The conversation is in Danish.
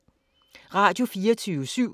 Radio24syv